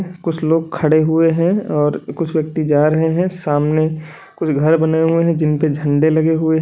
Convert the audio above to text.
कुछ लोग खड़े हुए हैं और कुछ व्यक्ति जा रहे है। सामने कुछ घर बने हुए हैं जिन पर झंडे लगे हुए हैं।